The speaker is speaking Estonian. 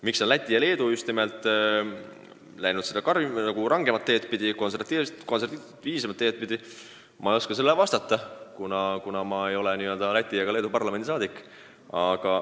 Miks on Läti ja Leedu läinud rangemat teed pidi, konservatiivsemat teed pidi, ma ei oska vastata, kuna ma ei ole Läti ega Leedu parlamendi liige.